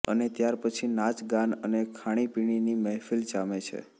અને ત્યાર પછી નાચગાન અને ખાણીપીણીની મહેફીલ જામે છે